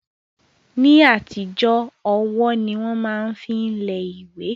Ní àtijọ́ ọwọ́ ni wọ́n máa ń fi lẹ ìwé